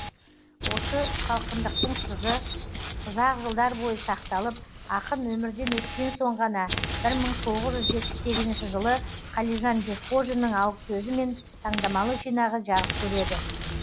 осы салқындықтың сызы ұзақ жылдар бойы сақталып ақын өмірден өткен соң ғана бір мың тоғыз жүз жетпіс сегізінші жылы қалижан бекхожиннің алғысөзімен таңдамалы жинағы жарық көреді